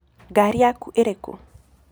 Ngarĩ yakũ ĩrĩkũ?